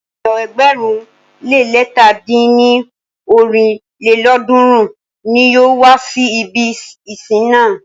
Ènìyàn ẹgbẹ̀rún le lẹ̀ta dín ní ọ́rin lélọ́ọ̀dúnrún ní yóò wá si ibi ìsìn náà.